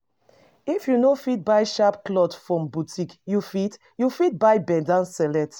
If you no fit buy sharp cloth from boutique, you fit you fit buy bend down select